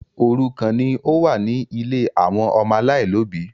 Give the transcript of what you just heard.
Òrùkan ní ọ wá ní ílé àwọn ọmọ alailòbí